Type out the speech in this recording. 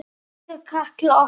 Elsku Katla okkar.